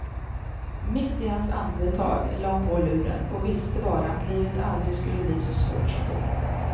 Mitt i hans andetag lade hon på luren och visste bara att livet aldrig skulle bli så svårt som då.